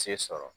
Se sɔrɔ